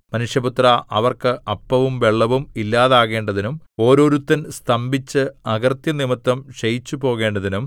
മനുഷ്യപുത്രാ അവർക്ക് അപ്പവും വെള്ളവും ഇല്ലാതാകേണ്ടതിനും ഓരോരുത്തൻ സ്തംഭിച്ച് അകൃത്യം നിമിത്തം ക്ഷയിച്ചുപോകേണ്ടതിനും